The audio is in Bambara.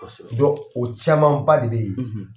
o caman ba de bɛ yen, .